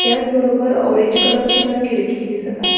त्याच बरोबर orange colour ची मला खिडकी दिसत आहे.